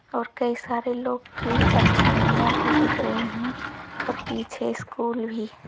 और कई सारे लोग की परछाइयां भी दिख रही हैं और पीछे स्कूल भी--